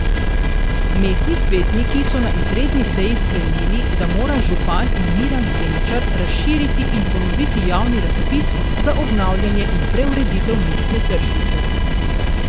Mestni svetniki so na izredni seji sklenili, da mora župan Miran Senčar razširiti in ponoviti javni razpis za obnavljanje in preureditev mestne tržnice.